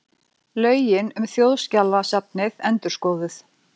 Lögin um Þjóðskjalasafnið endurskoðuð